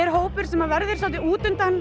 hópur sem verður svolítið